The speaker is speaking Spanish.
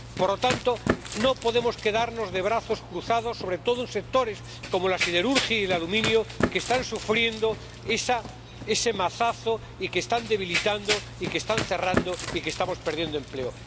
Por lo tanto, no podemos quedarnos de brazos cruzados, sobre todo en sectores como la siderurgia y el aluminio, que están sufriendo ese mazazo, que se están debilitando y que están cerrando y en los que estamos perdiendo empleo.